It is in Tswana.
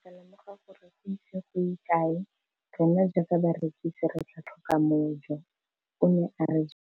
Ke ne ka lemoga gore go ise go ye kae rona jaaka barekise re tla tlhoka mojo, o ne a re jalo.